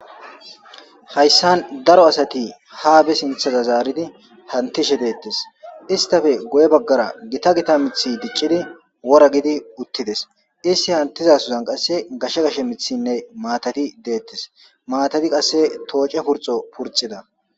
Hayssan daro asati haa be sinththeza zaaridi hantishe deetees; istappe guye bagaara gita gita miththi diccidi wora gidi uttides; isti hantizasozan qasse gashe gashe miththinne maatati deetees; maatati qasse tooce purxo purxida.